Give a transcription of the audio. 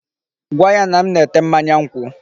Gwa ya na m na-ete mmanya nkwụ.